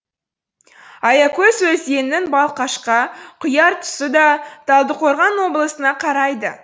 аякөз өзенінің балқашқа құяр тұсы да талдықорған облысына қарайды